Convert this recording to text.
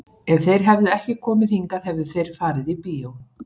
Ef þeir hefðu ekki komið hingað hefðu þeir farið á bíó.